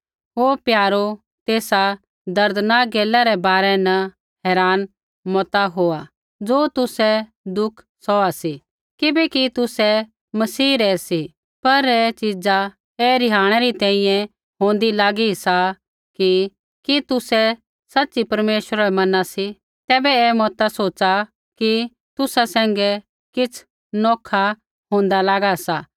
हे प्यारो तेसा दर्दनाक गैला रै बारै न हैरान मता होआ ज़ो तुसै दुख सौहा सी किबैकि तुसै मसीह रै सी पर ऐ च़ीजा ऐ रिहाणै री तैंईंयैं होंदी लागी सा की कि तुसै सच़ी परमेश्वरा बै मना सी तैबै ऐ मता सोच़ा कि तुसा सैंघै किछ़ नौखा होंदा लागा सा